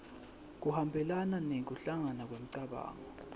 kuhambelana nekuhlangana kwemicabango